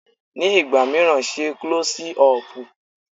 Ní ìgbà míràn, ṣe Klọ́sí ọpù.